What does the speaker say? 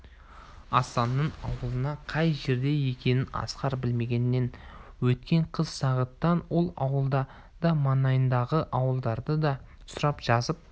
асанның ауылы қай жерде екенін асқар білмегенмен өткен қыс сағиттан ол ауылды да маңайындағы ауылдарды да сұрап жазып